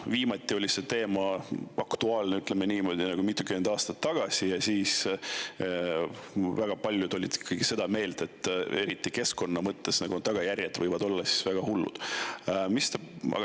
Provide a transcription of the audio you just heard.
Viimati oli see teema aktuaalne, ütleme niimoodi, mitukümmend aastat tagasi ja siis väga paljud olid seda meelt, et eriti keskkonna mõttes tagajärjed võivad olla väga hullud.